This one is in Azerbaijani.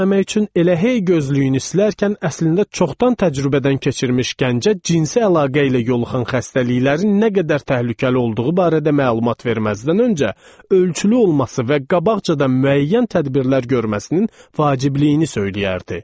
elə hey gözlərini silərkən, əslində çoxdan təcrübədən keçirmiş gəncə cinsi əlaqə ilə yoluxan xəstəliklərin nə qədər təhlükəli olduğu barədə məlumat verməzdən öncə ölçülü olması və qabaqcadan müəyyən tədbirlər görməsinin vacibliyini söyləyərdi.